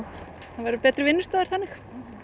það verður betri vinnustaður þannig